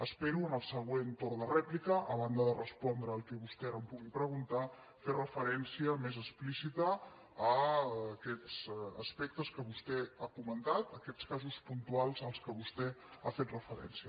espero en el se·güent torn de rèplica a banda de respondre al que vostè ara em pugui preguntar fer referència més explíci ta a aquests aspectes que vostè ha comentat a aquests casos puntuals a què vostè ha fet referència